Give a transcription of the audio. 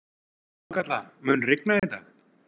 Þorkatla, mun rigna í dag?